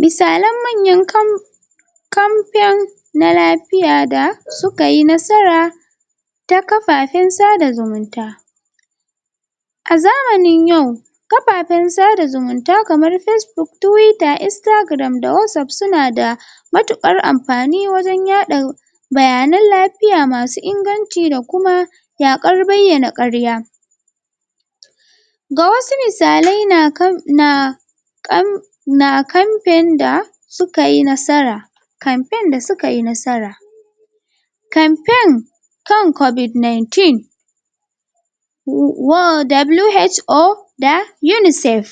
Misalan manyan kam campaign na lafiya da su ka yi nasara ta kafafen sada zumunta a zamanin yau kafafen sada zumunta kamar Facebook Twitter, Instagram da Whatsapp su na da matuƙar amfani wajen yaɗa bayanan lafiya masu inganci da kuma yaƙar bayyana ƙarya ga wasu misalai na?? na campaign da su ka yi nasara campaign da suka yi nasara campaign kan Covid-19 um WHO da UNICEF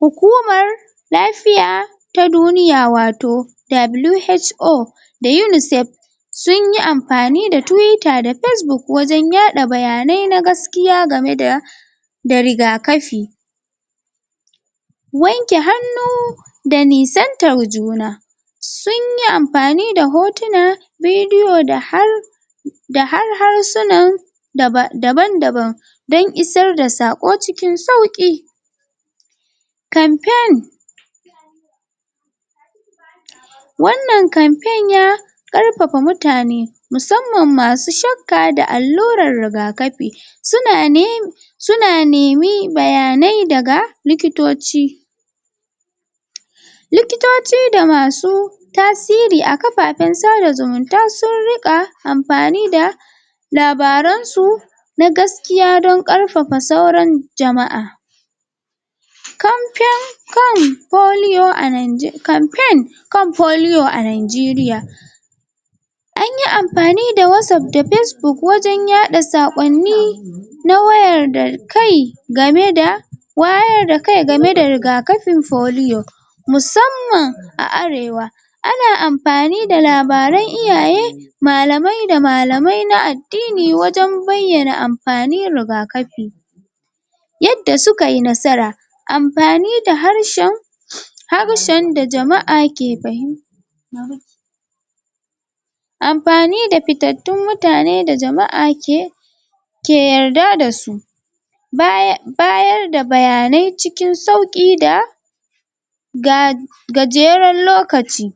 hukumar lafiya ta duniya wato WHO da UNICEF sun yi amfani da Twitter da Facebook wajen yaɗa bayanai na gaskiya game da da riga-kafi wanke hannu da nisantar juna sun yi amfani da hotuna bidiyo da har da har harsunan daban-daban dan isar da saƙo cikin sauƙi campaign wannan campaign ya ƙarfafa mutane musamman masu shakka da allurar rigakafi su na ne? su na nemi bayanai daga likitocci likitoci da masu tasiri a kafafen sada zumunta sun riƙa amfani da labaransu na gaskiya don ƙarfafa sauran jama'a campaign kan polio a? campaign kan polio a Nanjeriya an yi amfani da Whatsapp da Facebook wajen yaɗa saƙonni na wayar da kai game da wayar da kai game da rigakafin polio musamman a Arewa ana amfani da labaran iyaye malamai da malamai na addini wajen bayyana amfanin rigakafi yadda suka yi nasara amfani da harshen harshen da jama'a ke fahimta amfani da fitattun mutane da jama'a ke ke yarda da su? bayar da bayanai cikin sauƙi da ga gajeren lokaci